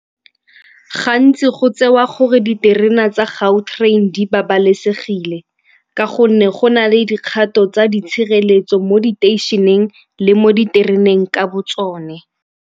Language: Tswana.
Gantsi go tsewa gore diterena tsa Gautrain di babalesegile ka gonne go na le dikgato tsa di tshireletso mo diteišeneng le mo ditereneng ka bo tsone.